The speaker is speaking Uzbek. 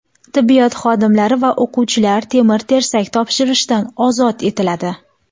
Tibbiyot xodimlari va o‘quvchilar temir-tersak topshirishdan ozod etiladi.